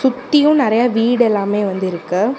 சுத்தியு நறையா வீடு எல்லாமே வந்து இருக்கு.